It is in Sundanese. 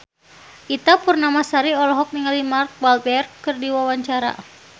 Ita Purnamasari olohok ningali Mark Walberg keur diwawancara